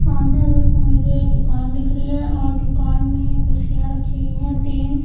सामने एक मुझे दुकान दिख रही है और दुकान में कुर्सियांरखी हुई हैं तीन--